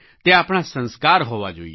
તે આપણા સંસ્કાર હોવા જોઈએ